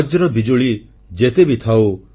ବଜ୍ର ବିଜୁଳି ଯେତେ ବି ଥାଉ